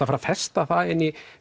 að festa það inn í